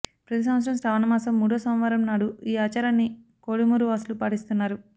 ప్రతి సంవత్సరం శ్రావణమాసం మూడో సోమవారం నాడు ఈ ఆచారాన్ని కోడుమూరు వాసులు పాటిస్తున్నారు